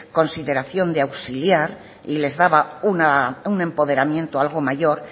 consideración de auxiliar y les daba un empoderamiento algo mayor